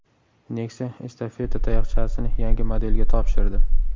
Nexia estafeta tayoqchasini yangi modelga topshirdi.